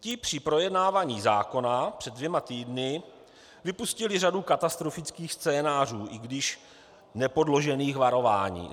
Ti při projednávání zákona před dvěma týdny vypustili řadu katastrofických scénářů, i když nepodložených varování.